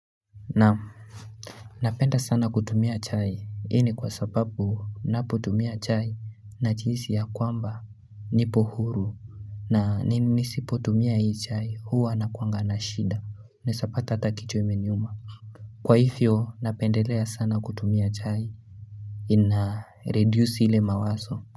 Naam, Napenda sana kutumia chai hii ni kwa sababu ninapotumia chai najihisi ya kwamba nipo huru na nisipotumia hii chai huwa nakuwanga na shida unaweza pata hata kichwa imeniuma Kwa hivyo napendelea sana kutumia chai ina reduce ile mawazo.